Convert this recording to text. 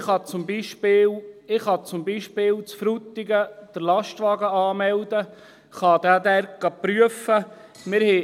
Ich kann zum Beispiel in Frutigen den Lastwagen anmelden, kann ihn dort prüfen lassen.